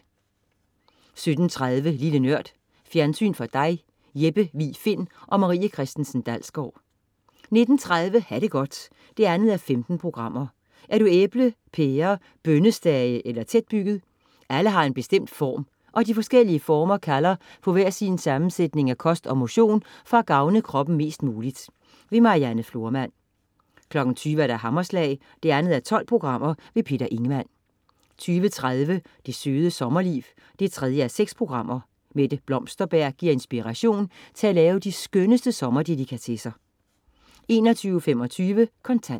17.30 Lille Nørd. Fjernsyn for dig Jeppe Vig Find & Marie Christensen Dalsgaard 19.30 Ha' det godt 2:15. Er du æble, pære, bønnestage eller tætbygget? Alle har en bestemt form, og de forskellige former kalder på hver sin sammensætning af kost og motion for at gavne kroppen mest muligt Marianne Florman 20.00 Hammerslag. 2:12 Peter Ingemann 20.30 Det Søde Sommerliv 3:6. Mette Blomsterberg giver inspiration til at lave de skønneste sommerdelikatesser 21.25 Kontant